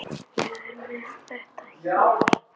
Ég er með þetta hérna.